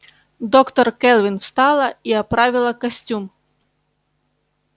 доктор кэлвин встала и оправила костюм